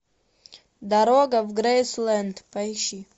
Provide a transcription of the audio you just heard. дорога в грейсленд поищи